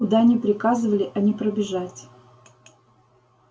куда ни приказывали а не пробежать